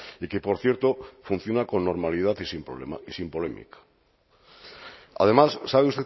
y que por cierto funciona con normalidad y sin polémica además sabe